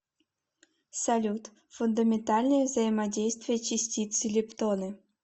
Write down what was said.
салют фундаментальные взаимодействия частицы лептоны